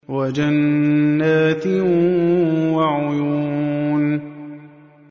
وَجَنَّاتٍ وَعُيُونٍ